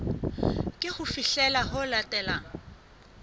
ke ho fihlela ho latelang